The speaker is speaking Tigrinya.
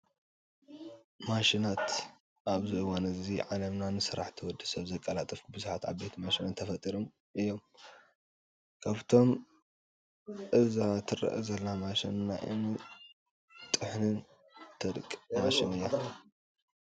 ማሽናት፡- ኣብዚ እዋን እዚ ዓለምና ንስራሕቲ ወዲ ሰብ ዘቀላጥፉ ብዙሓት ዓበይቲ ማሽናት ተፈጢሮም እዮም፡፡ ካብኣቶም አዛ ትረአ ዘላ ማሽን ናይ እምኒ ትጥሕንን ተደቕቕን ማሽን እያ፡፡